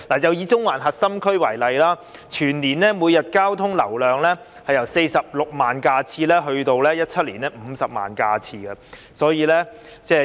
以中環核心區為例，全年每日交通流量由46萬架次增至2017年的50萬架次。